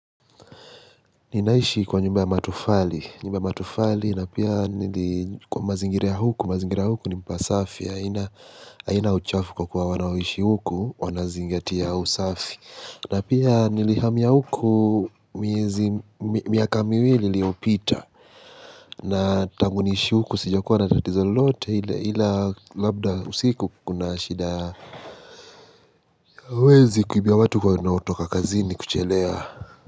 Ninaishi kwa nyumba ya matufali nyumba ya matufali na pia nili kwa mazingira ya huku mazingira ya huku ni mpasafi haina haina uchafu kwa kuwa wanaoishi huku wanazingatia usafi na pia nilihamia huku miezi miaka miwili liopita na tanguniishi huku sija kuwa natatizo lolote ile ila labda usiku kuna shida ya wezi kuibia watu wanaotoka kazini kuchelewa.